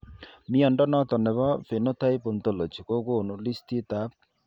Mnyondo noton nebo Phenotype Ontology kogonu listiit ab